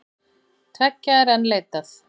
Tveggja er enn leitað.